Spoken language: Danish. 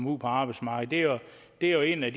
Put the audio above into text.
ud på arbejdsmarkedet det er jo en af